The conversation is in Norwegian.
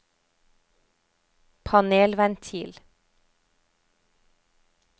panelventil